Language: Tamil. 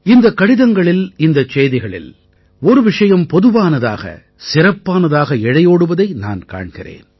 இந்தக் கடிதங்களில் இந்தச் செய்திகளில் ஒரு விஷயம் பொதுவானதாக சிறப்பானதாக இழையோடுவதை நான் காண்கிறேன்